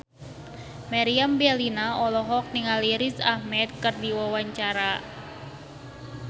Meriam Bellina olohok ningali Riz Ahmed keur diwawancara